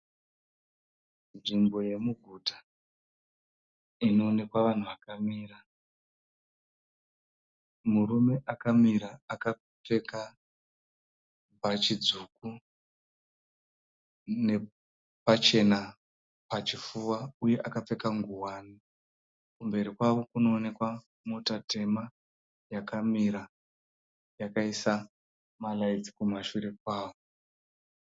Nzvimbo yemuguta. Inoonekwa vanhu vakamira. Murume akamira akapfeka bhachi dzvuku nepachena pachifuva uye akapfeka ngowani. Kumberi kwavo kunoonekwa mota tema yakamira yakaisa maraitsi kumashure kwayo.